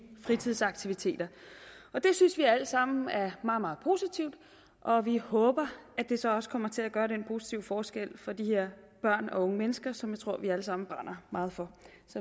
fritidsaktiviteter og det synes vi alt sammen er meget meget positivt og vi håber at det så også kommer til at gøre den positive forskel for de her børn og unge mennesker som jeg tror vi alle sammen brænder meget for